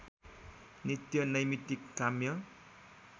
नित्य नैमित्तिक काम्य